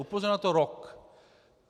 Upozorňuje na to rok.